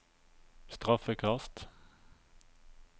straffekast